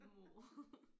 Nåh